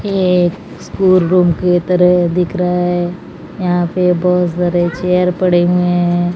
ये एक school room की तरह दिख रहा है यहां पे बहोत सारे चेयर पड़े हुए हैं।